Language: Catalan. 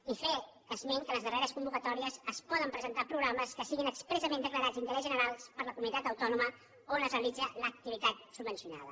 i fer esment que en les darreres convocatò·ries es poden presentar programes que siguin expres·sament declarats d’interès general per a la comunitat autònoma on es realitza l’activitat subvencionada